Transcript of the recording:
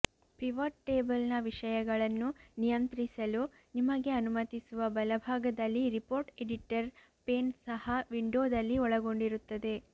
pivot ಟೇಬಲ್ನ ವಿಷಯಗಳನ್ನು ನಿಯಂತ್ರಿಸಲು ನಿಮಗೆ ಅನುಮತಿಸುವ ಬಲಭಾಗದಲ್ಲಿ ರಿಪೋರ್ಟ್ ಎಡಿಟರ್ ಪೇನ್ ಸಹ ವಿಂಡೋದಲ್ಲಿ ಒಳಗೊಂಡಿರುತ್ತದೆ